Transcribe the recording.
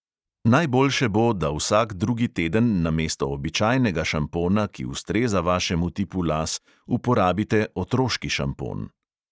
Najboljše bo, da vsak drugi teden namesto običajnega šampona, ki ustreza vašemu tipu las, uporabite otroški šampon.